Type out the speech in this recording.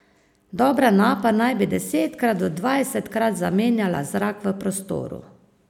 Dobra napa naj bi desetkrat do dvajsetkrat zamenjala zrak v prostoru.